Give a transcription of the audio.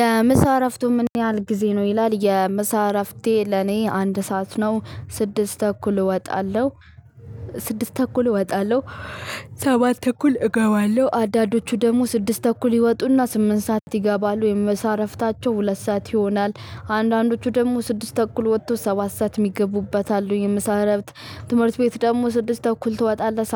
የምሳ እረፍቱ ምን? ያህል ጊዜ ነው ይላል የምሳ እረፍቴ ለኔ አንድ ሰዓት ነው ስድስት ተኩል እወጣለሁ። ስድስት ተኩል እወጣለሁ። ሰባት ተኩል እገባለሁ። አንዳዶቹ ደግሞ ስድስት ተኩል ይወጡና ስምንት ሰዓት ይገባሉ የምሳ እረፍታቸው ሁለት ሰዓት ይሆናል። አንዳንዶቹ ደግሞ ስድስት ተኩል ወጥቶ ሰባት ሰዓት የሚገቡበት አሉ። የምሳ እረፍት። ትምህርት ቤት ደግሞ ስድስት ተኩል ትወጣለህ።